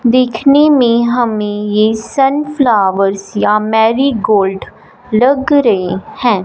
देखने में हमें ये सन्फ्लावर्स या मेरीगोल्ड लग रहे हैं।